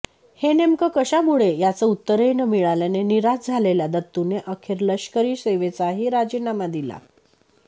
हे नेमकं कशामुळे याचं उत्तरही न मिळाल्याने निराश झालेल्या दत्तूने अखेर लष्करी सेवेचाही राजीनामा दिला